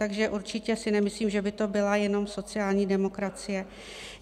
Takže si určitě nemyslím, že by to byla jenom sociální demokracie.